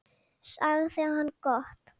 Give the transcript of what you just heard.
sagði hann: Gott.